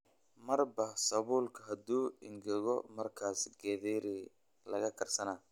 Marba sawulka haduu engegeko markas gatheri lakagarsana.